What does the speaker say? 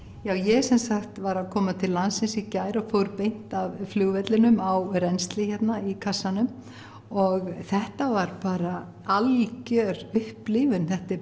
já ég sem sagt var að koma til landsins í gær og fór beint af flugvellinum á rennsli hérna í kassanum og þetta var bara algjör upplifun þetta er